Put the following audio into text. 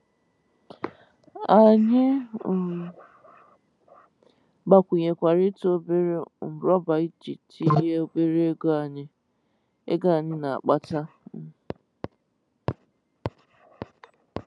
Anyị um gbakwụnyekwara ị́tụ obere um rọba iji tinye n'obere ego anyị ego anyị na-akpata um.